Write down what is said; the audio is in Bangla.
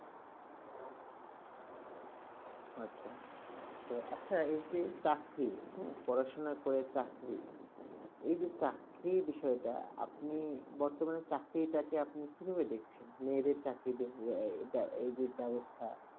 আচ্ছা তা আচ্ছা, এই যে চাকরি হুম, পড়াশোনা করে চাকরি, এই যে চাকরি বিষয়টা আপনি বর্তমানে চাকরিটাকে আপনি কিভাবে দেখছেন? মেয়েদের চাকরি এই যে ব্যবস্থা,